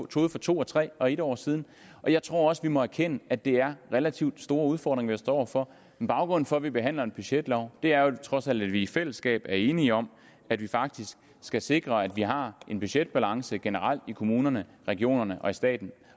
troede for to og tre og en år siden jeg tror også at vi må erkende at det er relativt store udfordringer vi står over for men baggrunden for at vi behandler en budgetlov er vel trods alt at vi i fællesskab er enige om at vi faktisk skal sikre at vi har en budgetbalance generelt i kommunerne regionerne og staten